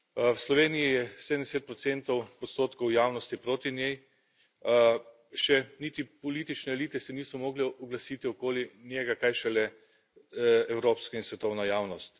V Sloveniji je 70 odstotkov javnosti proti njej. Še niti politične elite se niso mogle oglasiti okoli njega, kaj šele evropska in svetovna javnost.